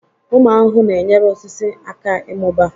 Ụmụ ahụhụ na-enyere osisi aka ịmụba.